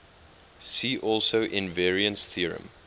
see also invariance theorem